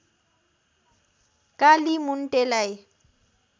कालीमुन्टेलाई